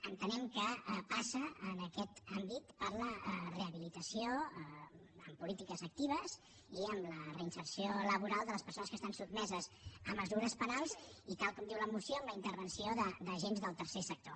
entenem que passa en aquest àmbit per la rehabilitació amb polítiques actives i amb la reinserció laboral de les persones que estan sotmeses a mesures penals i tal com diu la moció amb la intervenció d’agents del tercer sector